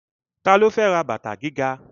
Ta ló fẹ́ ra bàtà gíga?